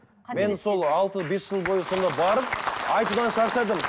мен сол алты бес жыл бойы сонда барып айтудан шаршадым